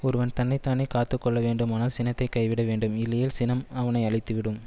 ஒருவன் தன்னை தானே காத்து கொள்ள வேண்டுமானால் சினத்தை கைவிட வேண்டும் இல்லையேல் சினம் அவனை அழித்துவிடும்